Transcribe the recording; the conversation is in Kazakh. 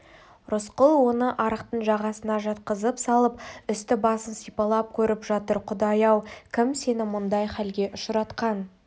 рысқұл оны арықтың жағасына жатқызып салып үсті-басын сипалап көріп жатыр құдай-ау кім сені мұндай халге ұшыратқан